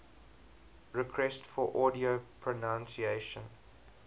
requests for audio pronunciation